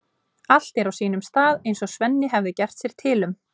Allt er á sínum stað eins og Svenni hafði getið sér til um.